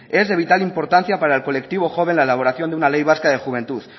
es de vital importancia para el colectivo joven la elaboración de una ley vasca de juventud